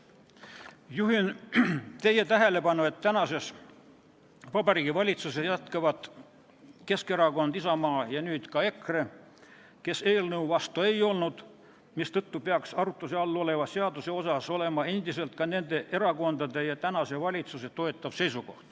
Juhin teie tähelepanu, et tänases Vabariigi Valitsuses jätkavad Keskerakond ja Isamaa ning nüüd on seal ka EKRE, kes eelnõu vastu ei olnud, mistõttu peaks arutluse all oleva seaduse suhtes nendel erakondadel endiselt olema toetav seisukoht ja see peaks olema ka tänasel valitsusel.